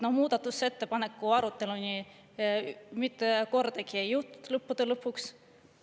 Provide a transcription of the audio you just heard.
Muudatusettepaneku aruteluni mitte kordagi ei jõutud lõppude lõpuks.